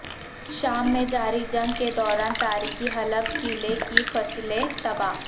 شام میں جاری جنگ کے دوران تاریخی حلب قلعےکی فصیلیں تباہ